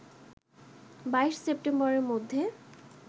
২২ সেপ্টেম্বরের মধ্যে